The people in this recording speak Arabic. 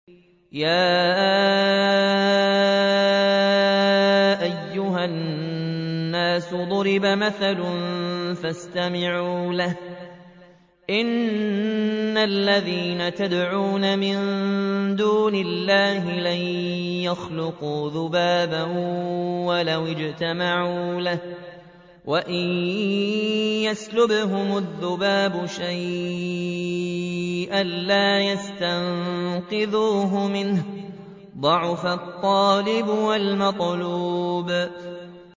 يَا أَيُّهَا النَّاسُ ضُرِبَ مَثَلٌ فَاسْتَمِعُوا لَهُ ۚ إِنَّ الَّذِينَ تَدْعُونَ مِن دُونِ اللَّهِ لَن يَخْلُقُوا ذُبَابًا وَلَوِ اجْتَمَعُوا لَهُ ۖ وَإِن يَسْلُبْهُمُ الذُّبَابُ شَيْئًا لَّا يَسْتَنقِذُوهُ مِنْهُ ۚ ضَعُفَ الطَّالِبُ وَالْمَطْلُوبُ